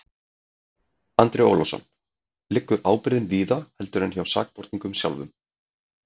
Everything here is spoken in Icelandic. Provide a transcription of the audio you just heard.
Andri Ólafsson: Liggur ábyrgðin víðar heldur en hjá sakborningnum sjálfum?